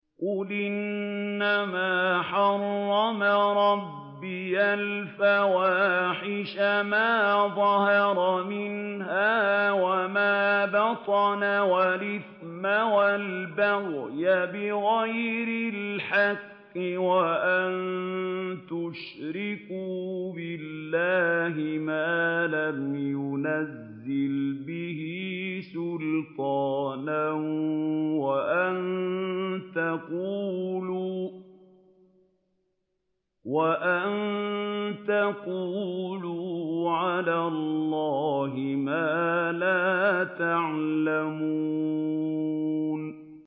قُلْ إِنَّمَا حَرَّمَ رَبِّيَ الْفَوَاحِشَ مَا ظَهَرَ مِنْهَا وَمَا بَطَنَ وَالْإِثْمَ وَالْبَغْيَ بِغَيْرِ الْحَقِّ وَأَن تُشْرِكُوا بِاللَّهِ مَا لَمْ يُنَزِّلْ بِهِ سُلْطَانًا وَأَن تَقُولُوا عَلَى اللَّهِ مَا لَا تَعْلَمُونَ